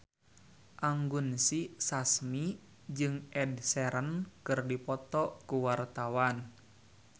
Anggun C. Sasmi jeung Ed Sheeran keur dipoto ku wartawan